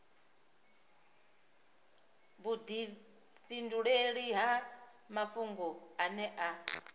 vhudifhinduleli ha mafhungo ane a